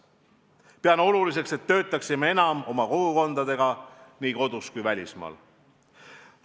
Pean oluliseks, et töötaksime enam oma kogukondadega nii kodus kui ka välismaal.